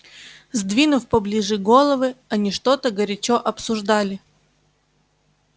сдвинув поближе головы они что-то горячо обсуждали